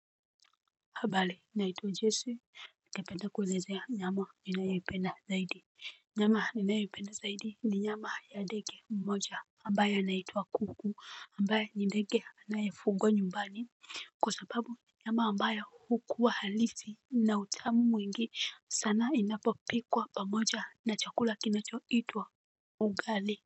Habali naituwa jesi. Nikependa kulezea nyama inayoipenda zaidi. Nyama inayoipenda zaidi ni nyama ya ndeke mmoja ambaye anaituwa kuku ambaye ni ndeke anayafugwa nyumbani. Kwa sapabu nyama ambaye hukuwa halisi na utamu mwingi sana inapo pikwa pamoja na chakula kinacho itwa ugali.